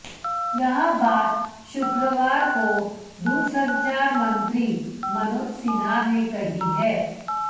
यह बात शुक्रवार को दूरसंचार मंत्री मनोज सिन्हा ने कही है